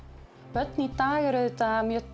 börn í dag eru auðvitað mjög